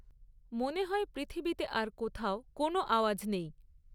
মনে হয় পৃথিবীতে আর কোথাও কোনও আওয়াজ নেই।